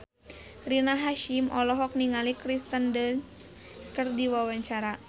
Rina Hasyim olohok ningali Kirsten Dunst keur diwawancara